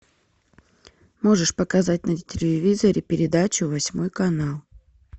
можешь показать на телевизоре передачу восьмой канал